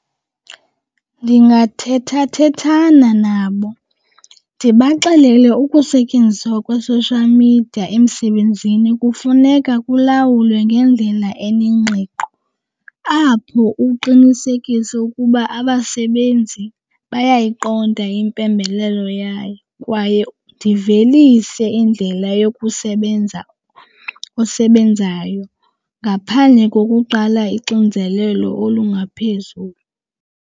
Ndingathethathethana nabo ndibaxelele ukusetyenziswa kwe-social media emsebenzini kufuneka kulawulwe ngendlela enengqiqo apho uqinisekise ukuba abasebenzi bayayiqonda impembelelo yayo kwaye ndivelise indlela yokusebenza, osebenzayo, ngaphandle kokuqala ixinzelelo olungaphezulu.